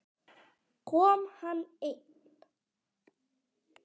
Kom hann einn?